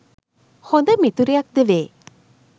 හොඳ මිතුරියක් ද වේ.